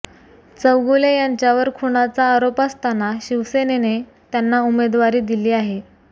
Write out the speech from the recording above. चौगुले यांच्यावर खुनाचा आरोप असताना शिवसेनेने त्यांना उमेदवारी दिली आहे